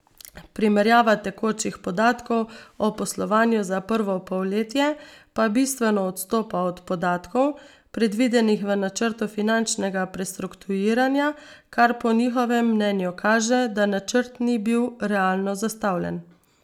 Primerjava tekočih podatkov o poslovanju za prvo polletje pa bistveno odstopa od podatkov, predvidenih v načrtu finančnega prestrukturiranja, kar po njihovem mnenju kaže, da načrt ni bil realno zastavljen.